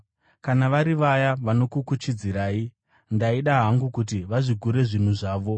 Kana vari vaya vanokukuchidzirai, ndaida hangu kuti vazvigure zvinhu zvavo.